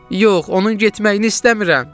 Yox, onun getməyini istəmirəm!